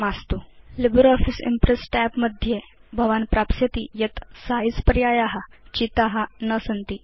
LibreOffice Impress tab मध्ये भवान् प्राप्स्यति यत् सिझे पर्याया चिता न सन्ति इति